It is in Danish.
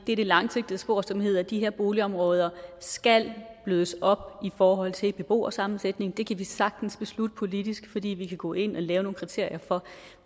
det langsigtede spor som hedder at de her boligområder skal blødes op i forhold til beboersammensætning det kan vi sagtens beslutte politisk fordi vi kan gå ind og lave nogle kriterier for